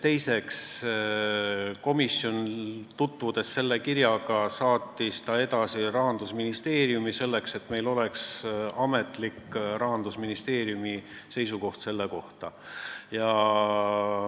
Teiseks, tutvunud selle kirjaga, saatis komisjon selle edasi Rahandusministeeriumi, et saada ametlik Rahandusministeeriumi seisukoht selle kohta.